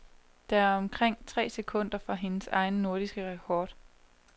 Det er omkring tre sekunder fra hendes egen nordiske rekord.